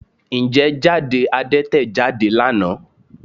Ǹjẹ́ jáde Adẹ́tẹ̀ jáde lánàá?